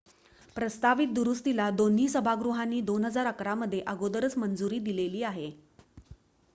प्रस्तावित दुरुस्तीला दोन्ही सभागृहांनी 2011 मध्ये अगोदरच मंजुरी दिलेली आहे